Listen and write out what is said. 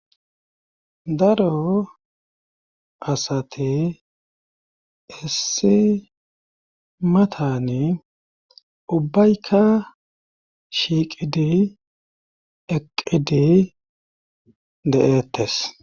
daro asati issi matani ubbaykka shiiqidi eqqidi de7ettes